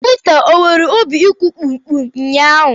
Pita e nwere obi ịkụ kpum kpum ụnyaahụ?